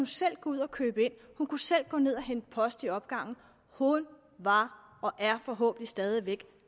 selv gå ud og købe ind hun kunne selv gå ned og hente post i opgangen hun var og er forhåbentlig stadig væk